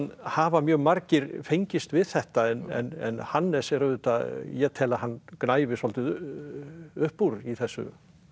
hafa mjög margir fengist við þetta en Hannes er auðvitað ég tel að hann gnæfi svolítið upp úr í þessu